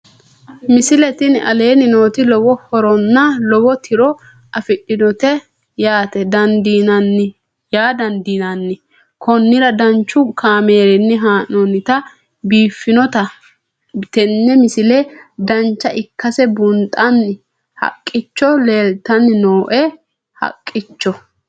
misile tini aleenni nooti lowo horonna lowo tiro afidhinote yaa dandiinanni konnira danchu kaameerinni haa'noonnite biiffannote tini misile dancha ikkase buunxanni haqqicho leeltanni nooe haqqicho